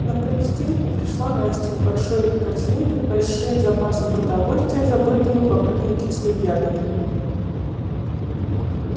на палестинку пришла настя с большой корзинкой с большим запасом продовольствия забытым и покрытым кислой ягодой